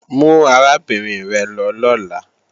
Mú arábìnrin rẹ̀ lọ lọ́la!